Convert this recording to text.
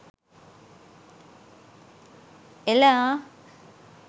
එල ආ !